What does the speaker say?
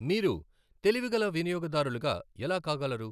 విూరు తెలివిగల వినియోగదారులుగా ఎలా కాగలరు?